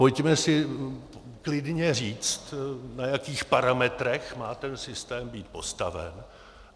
Pojďme si klidně říct, na jakých parametrech má ten systém být postaven.